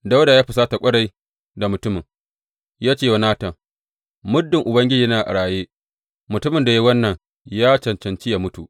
Dawuda ya husata ƙwarai da mutumin, ya ce wa Natan, Muddin Ubangiji yana a raye, mutumin da ya yi wannan ya cancanci yă mutu!